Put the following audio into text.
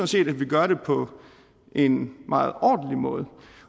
set at vi gør det på en meget ordentlig måde